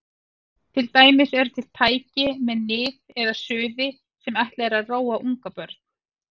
Til dæmis eru til tæki með nið eða suði sem ætlað er að róa ungbörn.